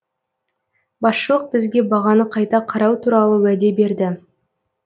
басшылық бізге бағаны қайта қарау туралы уәде берді